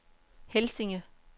Helsinge